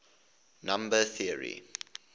number theory